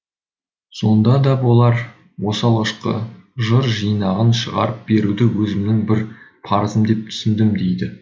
содан да болар осы алғашқы жыр жинағын шығарып беруді өзімнің бір парызым деп түсіндім дейді